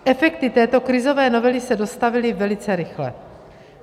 Efekty této krizové novely se dostavily velice rychle.